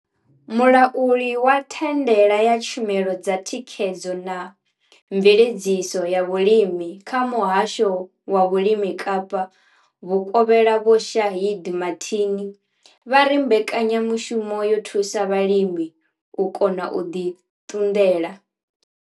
Mulauli wa thandela ya tshumelo dza thikhedzo na mveledziso ya vhulimi kha muhasho wa vhulimi Kapa vhukovhela Vho Shaheed Martin vha ri mbekanyamushumo yo thusa vhalimi u kona u ḓi ṱunḓela.